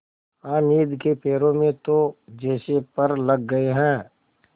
हामिद के पैरों में तो जैसे पर लग गए हैं